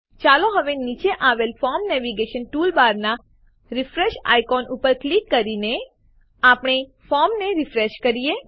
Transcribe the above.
ચાલો હવે નીચે આવેલ ફોર્મ નેવિગેશન ટૂલબારમાનાં રીફ્રેશ આઇકોન ઉપર ક્લિક કરીને આપણે ફોર્મને રીફ્રેશ કરીએ